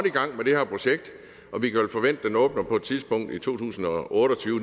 i gang med det her projekt og vi kan vel forvente at den åbner på et tidspunkt i to tusind og otte og tyve